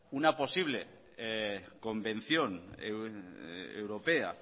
una posible convención europea